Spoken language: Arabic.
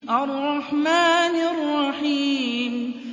الرَّحْمَٰنِ الرَّحِيمِ